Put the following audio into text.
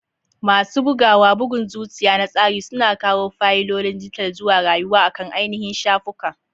Masu bugawa, bugun zuciya na tsari, suna kawo fayilolin dijital zuwa rayuwa akan ainihin shafuka.